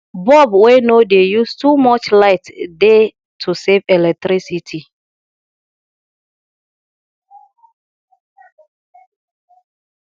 bulb wey no dey use too much light dey to save electricity